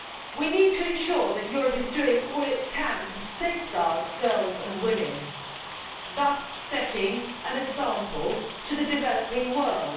We need to ensure that Europe is doing all it can to safeguard girls and women, thus setting an example to the developing world.